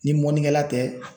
Ni mɔnikɛla tɛ.